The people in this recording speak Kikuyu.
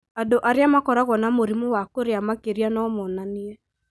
Andũ arĩa makoragwo na mũrimũ wa kũrĩa makĩria no monanie